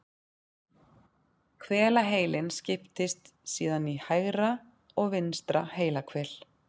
Hvelaheilinn skiptist síðan í hægra og vinstra heilahvel.